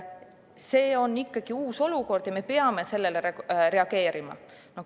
See on ikkagi uus olukord ja me peame sellele reageerima.